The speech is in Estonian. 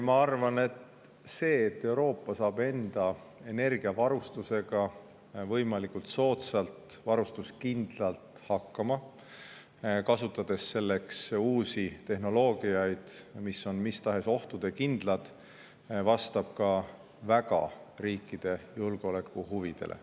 Ma arvan, et see, et Euroopa saab enda energiavarustusega võimalikult soodsalt hakkama ja varustuskindlus, kasutades selleks uusi tehnoloogiaid, mis on mis tahes ohtude suhtes kindlad, vastab ka väga riikide julgeolekuhuvidele.